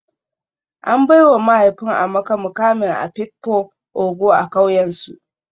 An baiwa mahaifin Amaka mukamin afikpo ogo a kauyensu